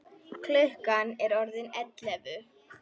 Klukkan er orðin ellefu.